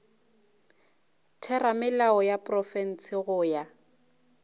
theramelao ya profense go ya